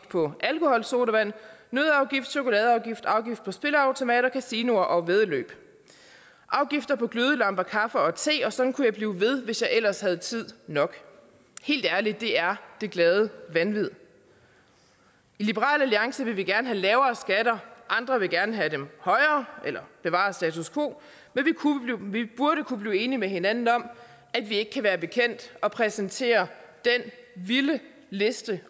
på alkoholsodavand nøddeafgift chokoladeafgift afgift på spilleautomater kasino og væddeløb afgift på glødelamper kaffe og te og sådan kunne jeg blive ved hvis jeg ellers havde tid nok helt ærligt det er det glade vanvid i liberal alliance vil vi gerne have lavere skatter andre vil gerne have dem højere eller bevare status quo men vi burde kunne blive enige med hinanden om at vi ikke kan være bekendt at præsentere den vilde liste